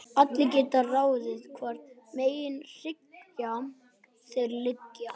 Allir geta ráðið hvorum megin hryggjar þeir liggja.